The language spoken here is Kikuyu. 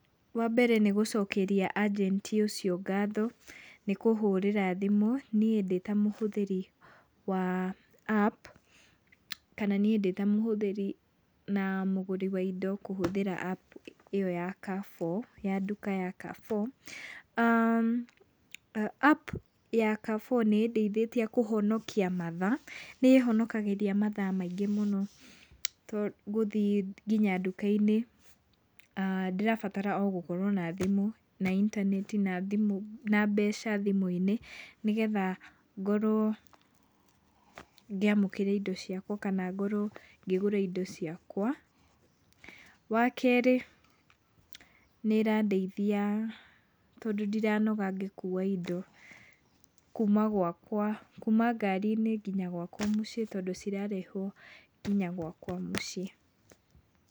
Wambere nĩgũcokeria ajenti ũcio ngatho nĩ kũhũrĩra thimũ niĩ ndĩ ta mũhũthĩri wa apu, kana niĩ ndĩ ta mũhũthĩri na mũgũri wa indo kũhũthĩra apu ĩyo ya Carrefour, ya nduka ya Carrefour. Apu ya Carrefour nĩĩndeithĩtie kũhonokia mathaa, nĩĩhonakagĩria mathaa maingĩ mũno tondũ gũthiĩ kinya nduka-inĩ, ndĩrabatara o gũkorwo na thimũ, na intaneti na thimũ na mbeca thimũ-inĩ, nĩgetha ngorwo ngĩamũkĩra indo ciakwa kana ngorwo ngĩgũra indo ciakwa. Wakerĩ nĩĩrandeithia tondũ ndiranoga ngĩkua indo kuma gwakwa, kuma ngari-inĩ kinya gwakwa mũciĩ tondũ cirarehwo kinya gwakwa mũciĩ.